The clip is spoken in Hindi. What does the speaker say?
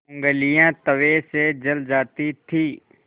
ऊँगलियाँ तवे से जल जाती थीं